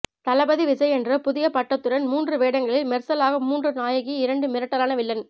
தளபதி விஜய் என்ற புதிய பட்டத்துடன் மூன்று வேடங்களில் மெர்சலாக மூன்று நாயகி இரண்டு மிரட்டலான வில்லன்